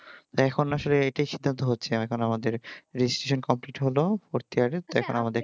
তো এখন আসলে এইটাই সিদ্ধান্ত হচ্ছে দেখো আমাদের registration complete হলো এখন আমাদের